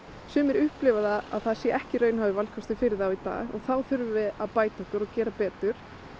sumir upplifa það að það sé ekki raunhæfur valkostur fyrir þá í dag þá þurfum við að bæta okkur og gera betur